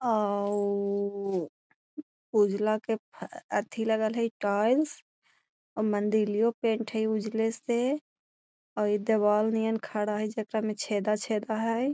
उजला के एथी लगल हई टाइल्स और मंदीलियों पेंट हई उजले से और दीवाल नियर खड़ा हई जे का में छेदा-छेदा हई।